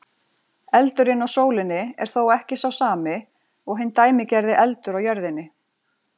Eldurinn á sólinni er þó ekki sá sami og hinn dæmigerði eldur á jörðinni.